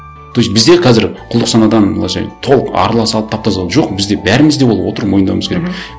то есть бізде қазір құлдық санадан былайша толық арыла салып тап таза болып жоқ бізде бәрімізде ол отыр мойындауымыз керек мхм